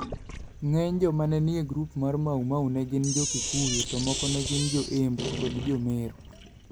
Ng'eny joma ne nie grup mar Maumau ne gin Jo-Gikuyu to moko ne gin Jo-Embu kod Jo-Meru.